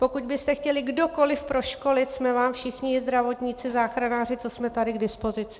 Pokud byste chtěli kdokoliv proškolit, jsme vám všichni zdravotníci, záchranáři, co jsme tady, k dispozici.